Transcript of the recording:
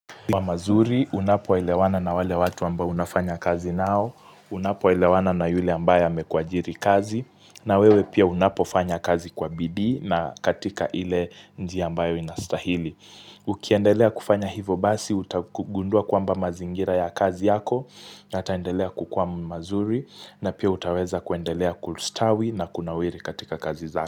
Kwa mazuri, unapo elewana na wale watu ambao unafanya kazi nao, unapo elewana na yule ambae amekuajiri kazi, na wewe pia unapo fanya kazi kwa bidii na katika ile njia ambayo inastahili. Ukiendelea kufanya hivo basi, utagundua kwamba mazingira ya kazi yako, yataendelea kukua mazuri, na pia utaweza kuendelea kulistawi na kunawiri katika kazi zako.